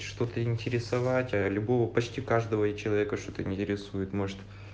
что-то интересовать а любого почти каждого человека что-то интересует может